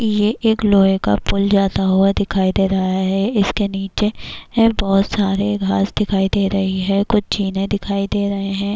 یہ ایک لوہے کا پل جاتا ہوا دکھائی دے رہا ہے -اس کے نیچے بہت سارےگھاس دکھائی دے رہے ہیں کچھ زینے دکھائی دے رہے ہیں-